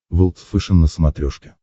волд фэшен на смотрешке